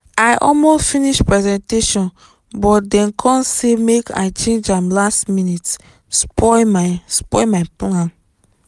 i almost finish presentation but dem come say make i change am last minute spoil my spoil my plan.